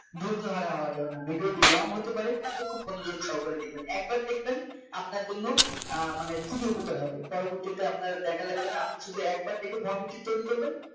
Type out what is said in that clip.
ধৈর্য হারা হওয়া যাবে না Video টি Long হতে পারে কিন্তু খুব মনোযোগ সহকারে দেখবেন একবার দেখবেন আপনার জন্য আহ মানে খুবই উপকার হবে পরবর্তীতে আপনার দেখা লাগবে না আপনি শুধু একবার দেখে Format টি তৈরি করবেন